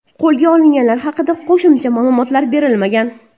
Qo‘lga olinganlar haqida qo‘shimcha ma’lumotlar berilmagan.